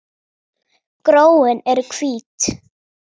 Gróin eru hvít.